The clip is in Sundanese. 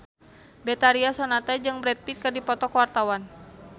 Betharia Sonata jeung Brad Pitt keur dipoto ku wartawan